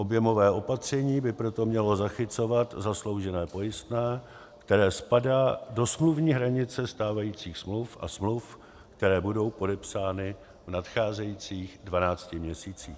Objemové opatření by proto mělo zachycovat zasloužené pojistné, které spadá do smluvní hranice stávajících smluv a smluv, které budou podepsány v nadcházejících 12 měsících.